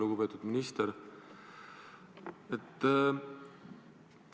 Lugupeetud minister!